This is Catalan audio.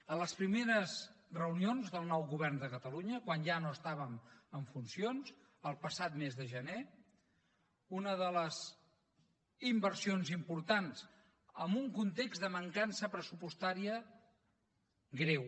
a les primeres reunions del nou govern de catalunya quan ja no estàvem en funcions el passat mes de gener una de les inversions importants en un context de mancança pressupostària greu